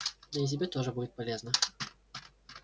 да и тебе тоже будет полезно